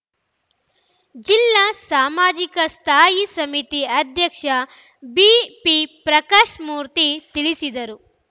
ಜಿಲ್ಲಾ ಸಾಮಾಜಿಕ ಸ್ಥಾಯಿ ಸಮಿತಿ ಅಧ್ಯಕ್ಷ ಬಿಪಿಪ್ರಕಾಶ್‌ಮೂರ್ತಿ ತಿಳಿಸಿದರು